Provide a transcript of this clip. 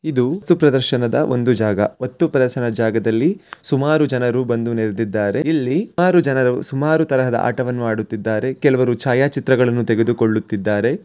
ಇದು ಸುಪ್ರದರ್ಶನದ ಒಂದು ಜಾಗ ವತ್ತೂ ಪ್ರದರ್ಶನದ ಜಾಗದಲ್ಲಿ ಸುಮಾರು ಜನರು ಬಂದು ನೆರೆದಿದ್ದಾರೆ ಇಲ್ಲಿ ಆರು ಜನರು ಸುಮಾರು ತರಹದ ಆಟವನ್ನು ಆಡುತ್ತಿದ್ದಾರೆ ಕೆಲವರು ಛಾಯಾಚಿತ್ರಗಳನ್ನು ತೆಗೆದುಕೊಳ್ಳುತ್ತಿದ್ದಾರೆ.